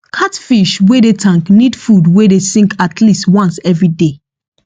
cat fish wey dey tank need food wey dey sink atleast once everyday